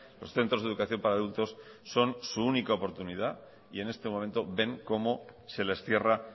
los centros de educación para adultos son su única oportunidad y en este momento ven como se les cierra